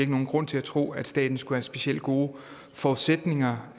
nogen grund til at tro at staten skulle specielle gode forudsætninger